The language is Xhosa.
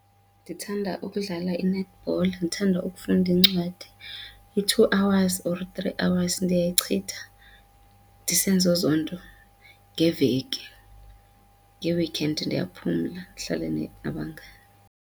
Ndithanda ukudlala i-netball, ndithanda ukufunda iincwadi i-two hours or three hours ndiyayichitha ndisenza ezo nto ngeveki. Ngee-weekend ndiyaphumla ndihlale net nabangani.